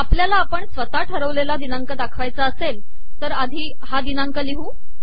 आपल्याला आपण स्वतः ठरवलेला दिनांक दाखवायचा असेल तर आधी हा दिनांक लिहू